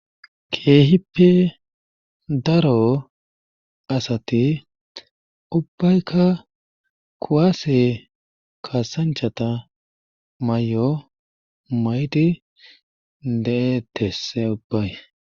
keehippe daro asati ubaykka kuwase kaasancha mayo mayidi de'etees he ubay.